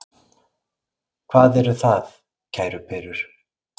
Hvað er það, kæru perur?